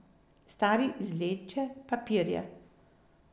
Stari izvleče papirje.